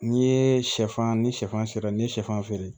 N'i ye sɛfan ni sɛfan sera n'i ye sɛfan feere